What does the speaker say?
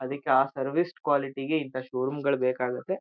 ಅದಿಕ್ಕೆ ಆ service quality ಗೆ ಇಂಥ ಶೋರೂಮ್ ಗಳ್ ಬೇಕಾಗುತ್ತೆ.